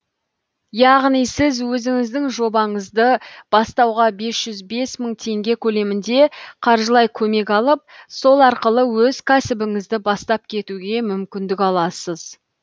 яғни сіз өзіңіздің жобаңызды бастауға бес жүз бес мың теңге көлемінде қаржылай көмек алып сол арқылы өз кәсібіңізді бастап кетуге мүмкіндік аласыз